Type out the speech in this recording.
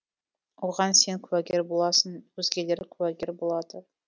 оған сен куәгер боласың өзгелер куәгер болады